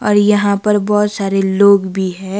और यहां पर बहोत सारे लोग भी हैं।